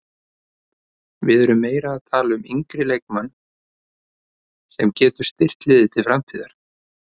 Við erum meira að tala um yngri leikmann sem getur styrkt liðið til framtíðar.